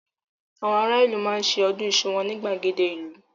Àwọn ará ìlú máa ṣe ọdún iṣu wọn ní gbàgede ìlú.